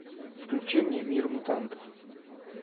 включи мне мир мутантов